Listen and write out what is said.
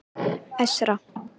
Esra